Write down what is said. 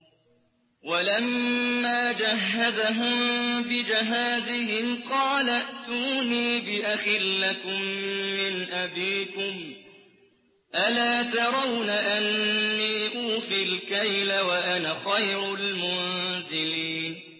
وَلَمَّا جَهَّزَهُم بِجَهَازِهِمْ قَالَ ائْتُونِي بِأَخٍ لَّكُم مِّنْ أَبِيكُمْ ۚ أَلَا تَرَوْنَ أَنِّي أُوفِي الْكَيْلَ وَأَنَا خَيْرُ الْمُنزِلِينَ